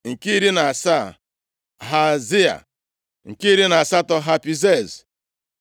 nke iri na asaa, Hezia nke iri na asatọ, Hapizez